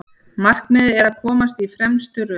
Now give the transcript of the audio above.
Markmiðið að komast í fremstu röð